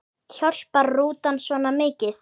Hjálpar rútan svona mikið?